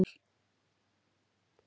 Allt í lagi þar.